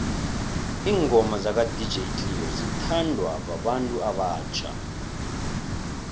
ingoma zaka dj cleo zithanwa babantu abatjha